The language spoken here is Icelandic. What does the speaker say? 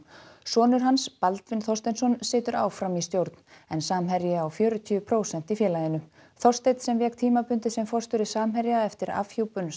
sonur hans Baldvin Þorsteinsson situr áfram í stjórn en Samherji á fjörutíu prósent í félaginu Þorsteinn sem vék tímabundið sem forstjóri Samherja eftir afhjúpun